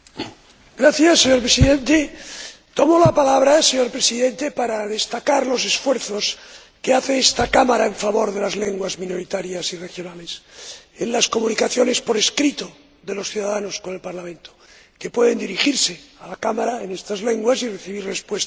Señor Presidente, tomo la palabra para destacar los esfuerzos que hace esta Cámara en favor de las lenguas minoritarias y regionales en las comunicaciones por escrito de los ciudadanos con el Parlamento, que pueden dirigirse a la Cámara en estas lenguas y recibir respuesta en las mismas.